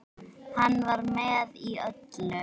Hann var með í öllu.